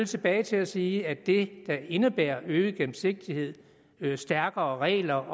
tilbage til at sige at det der indebærer øget gennemsigtighed stærkere regler